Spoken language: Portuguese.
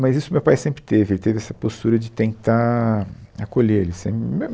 Mas isso o meu pai sempre teve, ele teve essa postura de tentar acolher ele, assim mesmo